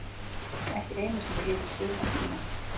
Ekki einu sinni yfir sumartímann.